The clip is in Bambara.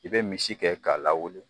I bɛ misi kɛ k'a lawuli.